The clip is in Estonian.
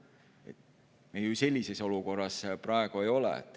Praegu me ju sellises olukorras ei ole.